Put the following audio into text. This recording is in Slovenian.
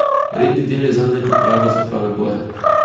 Redni del je zanj le priprava za prave boje.